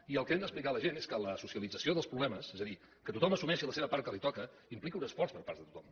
i el que hem d’explicar a la gent és que la socialització dels problemes és a dir que tothom assumeixi la seva part que li toca implica un esforç per part de tothom